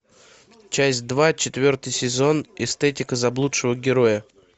часть два четвертый сезон эстетика заблудшего героя